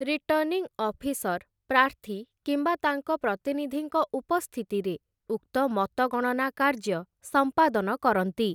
Returning officer ପ୍ରାର୍ଥୀ କିମ୍ବା ତାଙ୍କ ପ୍ରତିନିଧିଙ୍କ ଉପସ୍ଥିତିରେ ଉକ୍ତ ମତଗଣନା କାର୍ଯ୍ୟ ସମ୍ପାଦନ କରନ୍ତି ।